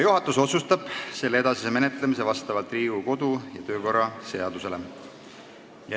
Juhatus otsustab selle edasise menetlemise vastavalt Riigikogu kodu- ja töökorra seadusele.